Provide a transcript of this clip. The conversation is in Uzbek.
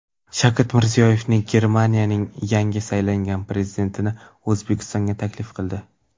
Shavkat Mirziyoyev Germaniyaning yangi saylangan prezidentini O‘zbekistonga taklif qildi.